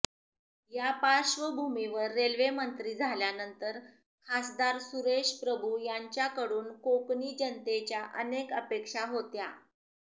या पार्श्वभूमीवर रेल्वेमंत्री झाल्यानंतर खासदार सुरेश प्रभू यांच्याकडून कोकणी जनतेच्या अनेक अपेक्षा होत्या